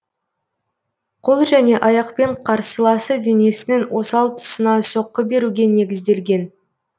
қол және аяқпен қарсыласы денесінің осал тусына соққы беруге негізделген